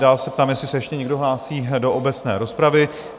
Dál se ptám, jestli se ještě někdo hlásí do obecné rozpravy?